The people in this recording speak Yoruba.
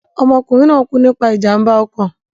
Ọmọkùnrin náà kú nípa ìjàmbá ọkọ̀.